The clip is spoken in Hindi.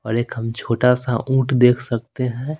और एक हम छोटा सा ऊंट देख सकते हैं।